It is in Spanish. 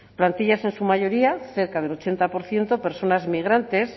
plantilla en su mayoría cerca del ochenta por ciento personas migrantes